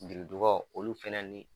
Biridugaw olu fɛnɛ ni